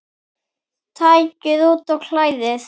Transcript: Takið út og kælið.